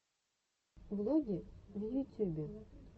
влоги в ютюбе